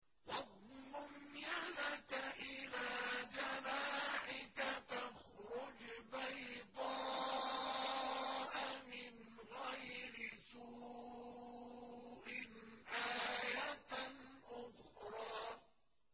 وَاضْمُمْ يَدَكَ إِلَىٰ جَنَاحِكَ تَخْرُجْ بَيْضَاءَ مِنْ غَيْرِ سُوءٍ آيَةً أُخْرَىٰ